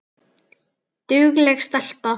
Dugleg stelpa